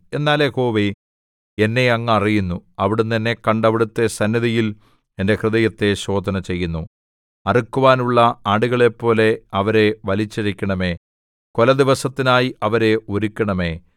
എന്നാൽ യഹോവേ എന്നെ അങ്ങ് അറിയുന്നു അവിടുന്ന് എന്നെ കണ്ട് അവിടുത്തെ സന്നിധിയിൽ എന്റെ ഹൃദയത്തെ ശോധനചെയ്യുന്നു അറുക്കുവാനുള്ള ആടുകളെപ്പോലെ അവരെ വലിച്ചിഴയ്ക്കണമേ കൊലദിവസത്തിനായി അവരെ ഒരുക്കണമേ